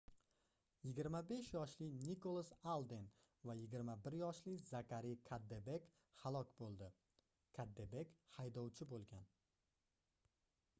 25 yoshli nikolas alden va 21 yoshli zakari kaddebek halok boʻldi kaddebek haydovchi boʻlgan